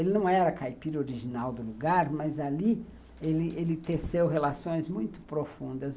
Ele não era caipira original do lugar, mas ali ele ele teceu relações muito profundas.